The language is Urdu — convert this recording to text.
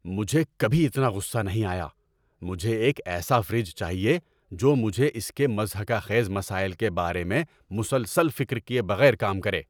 مجھے کبھی اتنا غصہ نہیں آیا۔ مجھے ایک ایسا فریج چاہیے جو مجھے اس کے مضحکہ خیز مسائل کے بارے میں مسلسل فکر کیے بغیر کام کرے!